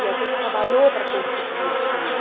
E a gente trabalhou para conseguir aquilo.